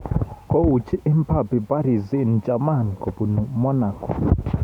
Kouchi Mbappe Paris St-Germain kobunu Monago